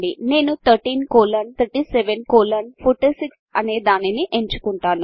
నేను 133746 అనే దానిని ఎంచుకుంటాను